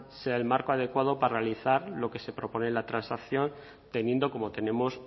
sea el marco adecuado para realizar lo que se propone en la transacción teniendo como tenemos